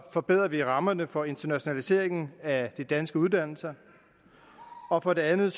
forbedrer vi rammerne for internationaliseringen af danske uddannelser og for det andet